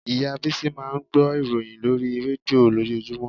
Ìyá Bísí máa ń gbọ́ ìròyìn lórí rédíò lójoojúmọ́